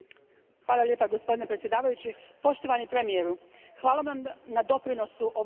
Gospodine predsjedniče, poštovani premijeru, hvala vam na doprinosu ovoj raspravi.